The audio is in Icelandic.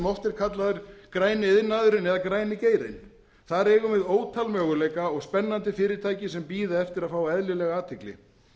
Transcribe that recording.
er kallaður græni iðnaðurinn eða græni geirinn þar eigum við ótal möguleika og spennandi fyrirtæki sem bíða eftir að fá eðlilega athygli